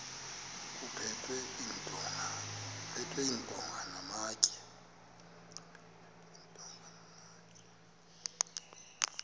kuphethwe iintonga namatye